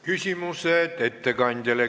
Küsimused ettekandjale.